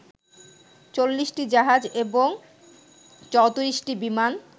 ৪০টি জাহাজ এবং ৩৪টি বিমান